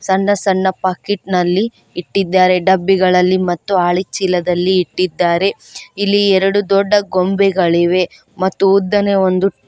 ಸಣ್ಣ ಸಣ್ಣ ಪಾಕೆಟ್ ನಲ್ಲಿ ಇಟ್ಟಿದ್ದಾರೆ ಡಬ್ಬಿಗಳಲ್ಲಿ ಮತ್ತು ಆಳಿ ಚೀಲದಲ್ಲಿ ಇಟ್ಟಿದ್ದಾರೆ ಇಲ್ಲಿ ಎರಡು ದೊಡ್ಡ ಗೊಂಬೆ ಗಳಿವೆ ಮತ್ತು ಉದ್ದನೆಯ ಒಂದು --